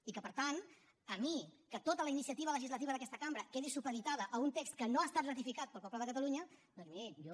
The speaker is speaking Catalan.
i per tant a mi que tota la iniciativa legislativa d’aquesta cambra quedi supeditada a un text que no ha estat ratificat pel poble de catalunya doncs miri jo